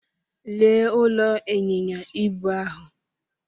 Lee ụlọ ịnyịnya ibu ahụ.